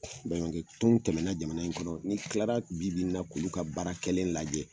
Baɲumankɛ tɔn tɛmɛna jamana in kɔrɔ ,n'i kilara bi bi in na k'ulu ka baara kɛlen lajɛ